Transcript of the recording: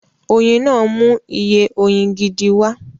Oyin náà mú iye oyin gidi wá